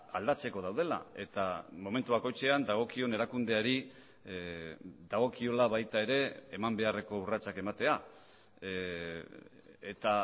aldatzeko daudela eta momentu bakoitzean dagokion erakundeari dagokiola baita ere eman beharreko urratsak ematea eta